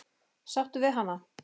Sáttur við hana?